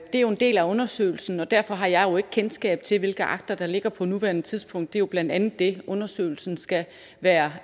er jo en del af undersøgelsen og derfor har jeg ikke kendskab til hvilke akter der ligger på nuværende tidspunkt det er jo blandt andet det undersøgelsen skal være